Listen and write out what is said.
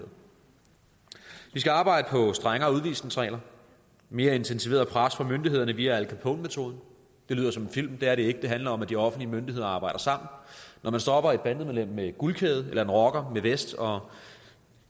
skal arbejde på strengere udvisningsregler mere intensiveret pres fra myndighederne via al capone metoden det lyder som en film men det er det ikke det handler om at de offentlige myndigheder arbejder sammen når man stopper et bandemedlem med guldkæde eller en rocker med vest og